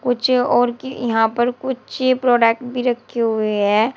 कुछ और कि यहां पर कुछ प्रोडक्ट भी रखे हुए हैं।